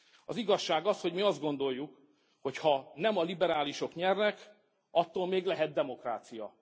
Az igazság az, hogy mi azt gondoljuk, hogy ha nem a liberálisok nyernek, attól még lehet demokrácia.